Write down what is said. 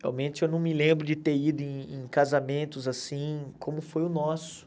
Realmente eu não me lembro de ter ido em em casamentos assim, como foi o nosso.